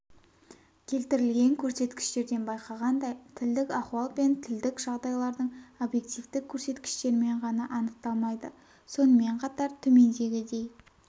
келтірілген көрсеткіштерден байқағандай тілдік ахуал пен тілдік жағдайлардың объективтік көрсеткіштерімен ғана анықталмайды сонымен қатар төмендегідей